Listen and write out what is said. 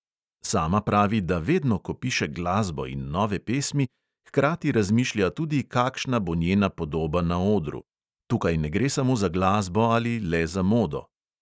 Sama pravi, da vedno, ko piše glasbo in nove pesmi, hkrati razmišlja tudi, kakšna bo njena podoba na odru: "tukaj ne gre samo za glasbo ali le za modo."